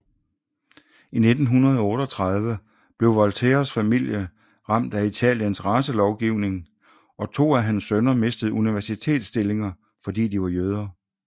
I 1938 blev Volterras familie ramt af Italiens racelovning og to af hans sønner mistede universitetsstillinger fordi de var jøder